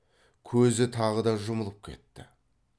көзі тағы да жұмылып кетті